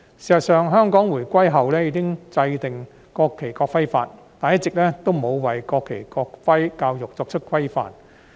事實上，香港回歸後已經制定《國旗及國徽條例》，但一直也沒有為國旗、國徽教育作出規範。